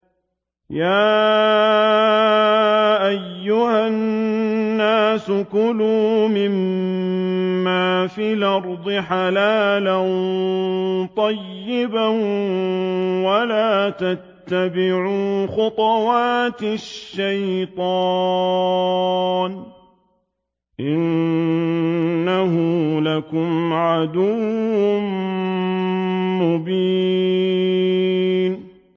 يَا أَيُّهَا النَّاسُ كُلُوا مِمَّا فِي الْأَرْضِ حَلَالًا طَيِّبًا وَلَا تَتَّبِعُوا خُطُوَاتِ الشَّيْطَانِ ۚ إِنَّهُ لَكُمْ عَدُوٌّ مُّبِينٌ